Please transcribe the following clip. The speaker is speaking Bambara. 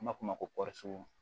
An b'a f'o ma ko